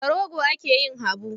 Da rogo ake yin habu.